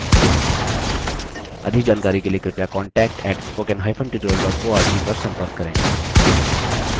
अधिक जानकारी के लिए कृपया contact @spoken hyphen tutorial dot org पर संपर्क करें